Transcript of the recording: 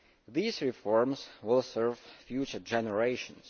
These reforms will serve future generations.